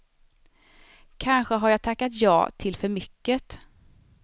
Kanske har jag tackat ja till för mycket.